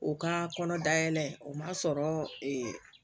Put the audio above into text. O ka kɔnɔ dayɛlɛ o man sɔrɔ ee